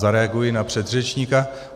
Zareaguji na předřečníka.